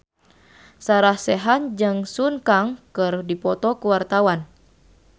Sarah Sechan jeung Sun Kang keur dipoto ku wartawan